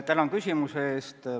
Tänan küsimuse eest!